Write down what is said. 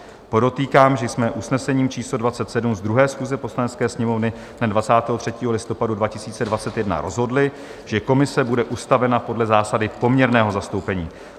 Podotýkám, že jsme usnesením číslo 27 z 2. schůze Poslanecké sněmovny dne 23. listopadu 2021 rozhodli, že komise bude ustavena podle zásady poměrného zastoupení.